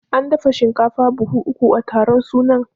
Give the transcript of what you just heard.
An dafa shinkafa buhu uku a taron suna